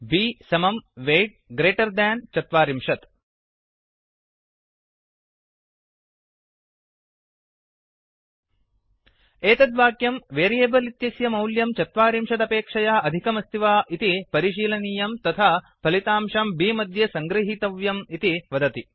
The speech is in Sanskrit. b weight greater than 40 b समं वेय्ट् ग्रेटर् देन् चत्वारिंशत् एतत् वाक्यं वेरियेबल् इत्यस्य मौल्यं चत्वारिंशदपेक्षया अधिकं अस्ति वा इति परिशीलनीयं तथा फलितंशं बि मध्ये सङ्ग्रहीतव्यम् इति वदति